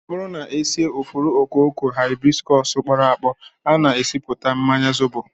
Ọ bụrụ na e sie ifuru okooko Hibiscus kpọrọ akpọ, a na-esipụta mmanya zobo